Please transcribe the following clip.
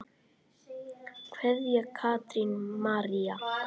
Kveðja, Katrín María.